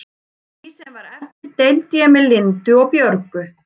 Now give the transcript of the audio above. Því sem var eftir deildi ég með Lindu og Björgu.